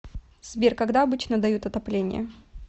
сбер когда обычно дают отопление